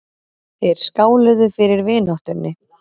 Þeir skáluðu fyrir vináttunni.